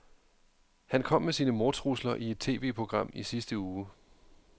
Han kom med sine mordtrusler i et TVprogram i sidste uge.